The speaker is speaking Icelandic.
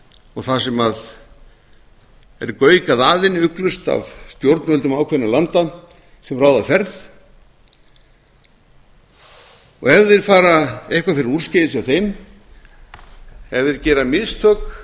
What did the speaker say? og það sem er gaukað að henni ugglaust af stjórnvöldum ákveðinna landa sem ráða ferð og ef eitthvað fer úrskeiðis hjá þeim ef þeir gera mistök